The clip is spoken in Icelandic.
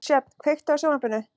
Sjöfn, kveiktu á sjónvarpinu.